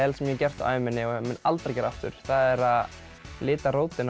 sem ég hef gert á ævinni og mun aldrei gera aftur það er að lita rótina